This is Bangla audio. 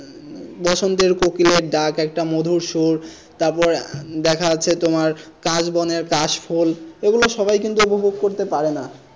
বসন্তের কোকিলের ডাক একটা মধুর সুর তারপরে দেখা যাচ্ছে তোমার কাশ বনের কাশ ফুল এগুলো সবাই কিন্তু উপভোগ করতে পারে না।